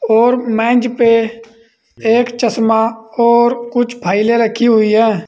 और मेज पे एक चश्मा और कुछ फाइलें रखी हुई हैं।